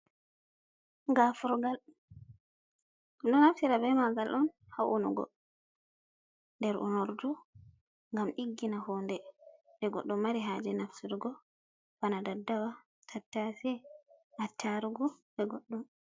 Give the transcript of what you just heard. Gafurgal ɓedon naftira bee malgal on haa unugo nder unordu ngam ɗiggina huunde, ɗum goɗɗo mari haaje nafturgo bana daddawa tattasie, attarugo bee goɗɗum.